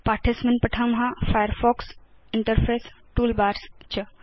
पाठे अस्मिन् पठाम फायरफॉक्स इंटरफेस टूलबार्स च